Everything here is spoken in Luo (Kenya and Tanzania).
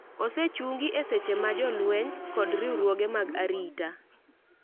osechungi e seche ma jolweny kod riwruoge mag arita